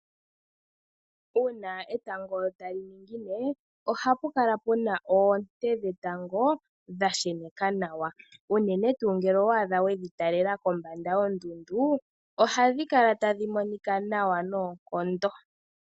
Uuna etango tali ningine ohapu kala pu na oonte dhetango dha sheneka nawa unene tuu ngele owa adha we dhi talela kombanda yondundu, ohadhi kala tadhi monika nawa noonkondo.